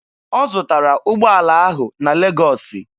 Ọ zụtara ụgbọala ahụ na Legọọsị.